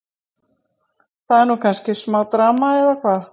Það er nú kannski smá drama, eða hvað?